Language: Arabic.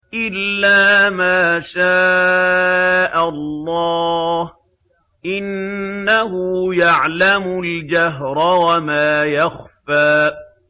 إِلَّا مَا شَاءَ اللَّهُ ۚ إِنَّهُ يَعْلَمُ الْجَهْرَ وَمَا يَخْفَىٰ